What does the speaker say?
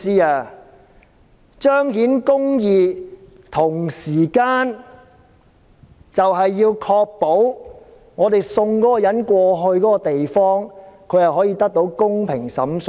我們彰顯公義的同時，要確保將疑犯送到有關地方後，他可以得到公平審訊。